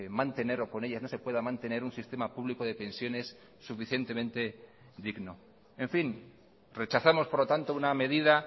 mantener o con ellas no se pueda mantener un sistema público de pensiones suficientemente digno en fin rechazamos por lo tanto una medida